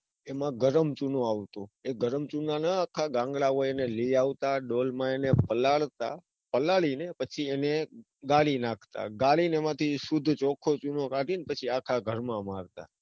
એમાં ગરમચુનો આવતો. એ ગરમ ચુનામાં આખા ગામડા માંથી લઇ આવતા. અને ડોલ માં એને પલાળતાં, પલાળીને પછી એને ગાળી નાખતા. ગાળીને એમાંથી શુદ્ધ ચોખ્ખો ચૂનો કાઢીને પછી આખા ઘરમાં મારતાં.